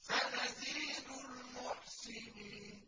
سَنَزِيدُ الْمُحْسِنِينَ